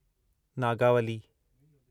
Nagavali